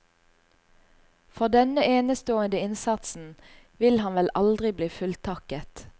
For denne enestående innsatsen vil han vel aldri bli fulltakket.